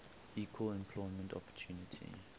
equal employment opportunity